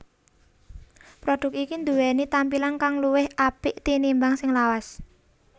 Produk iki duweni tampilan kang luwih apik tinimbang sing lawas